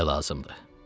Belə lazımdır.